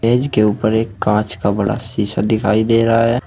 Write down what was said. मेज के ऊपर एक कांच का बड़ा शीशा दिखाई दे रहा है।